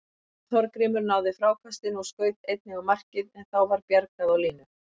Jón Þorgrímur náði frákastinu og skaut einnig á markið en þá var bjargað á línu.